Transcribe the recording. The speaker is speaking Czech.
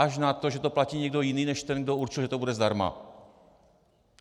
Až na to, že to platí někdo jiný než ten, kdo určil, že to bude zdarma.